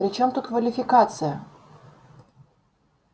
при чём тут квалификация